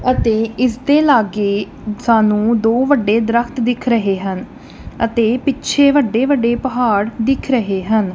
ਅਤੇ ਇਸ ਦੇ ਲਾਗੇ ਸਾਨੂੰ ਦੋ ਵੱਡੇ ਦਰਖਤ ਦਿਖ ਰਹੇ ਹਨ ਅਤੇ ਪਿੱਛੇ ਵੱਡੇ ਵੱਡੇ ਪਹਾੜ ਦਿਖ ਰਹੇ ਹਨ।